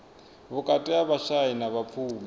vhukati ha vhashai na vhapfumi